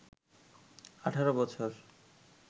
১৮ বছর